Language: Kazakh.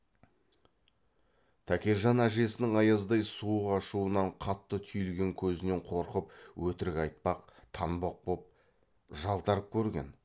тәкежан әжесінің аяздай суық ашуынан қатты түйілген көзінен қорқып өтірік айтпақ танбақ боп жалтарып көрген